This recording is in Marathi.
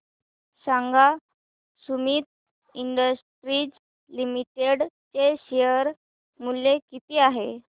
सांगा सुमीत इंडस्ट्रीज लिमिटेड चे शेअर मूल्य किती आहे